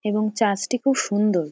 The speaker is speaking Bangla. এবং চার্চ - টি খুব সুন্দর ।